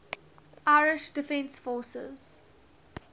irish defence forces